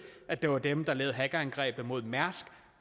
at det var dem der lavede hackerangrebet mod mærsk